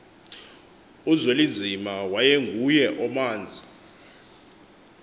uzwelinzima wayengenguye omanzi